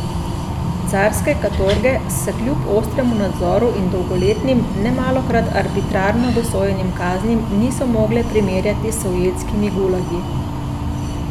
Carske katorge se kljub ostremu nadzoru in dolgoletnim, nemalokrat arbitrarno dosojenim kaznim niso mogle primerjati s sovjetskimi gulagi.